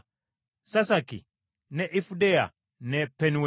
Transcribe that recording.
Sasaki ne Ifudeya ne Penueri.